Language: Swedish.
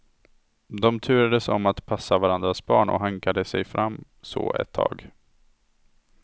De turades om att passa varandras barn och hankade sig fram så ett tag.